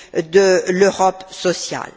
de l'Europe sociale.